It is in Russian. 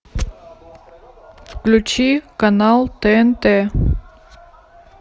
включи канал тнт